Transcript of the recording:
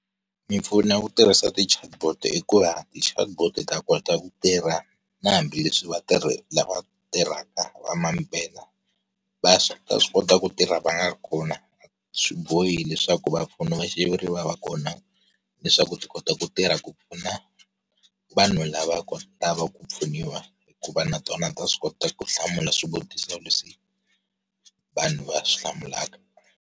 Mimpfuno ya ku tirhisa ti chatbot i ku va ti chatbot ta kota ku tirha, na hambileswi vatirhi lava tirhaka va mampela va swi ta swi kota ku tirha va nga ri kona. Swibohi leswaku va mpfuni va xiviri va va kona, leswaku ti kota ku tirha ku pfuna, vanhu lava lava ku pfuniwa, hikuva na tona ta swi kota ku hlamula swivutiso leswi, vanhu va swi hlamulaka.